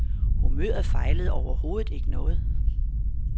Humøret fejlede overhovedet ikke noget.